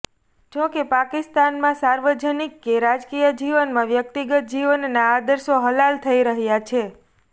જોકે પાકિસ્તાનમાં સાર્વજનિક કે રાજકીય જીવનમાં વ્યક્તિગત જીવનના આદર્શો હલાલ થઈ રહ્યા છે